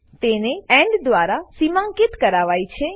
તેને એન્ડ દ્વારા સીમાંકિત કરાય છે